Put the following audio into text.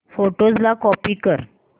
photos ला copy कर